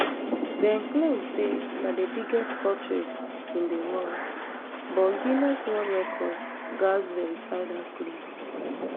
dem claim say na di biggest portrait in di world but guiness world records gatz verify dat claim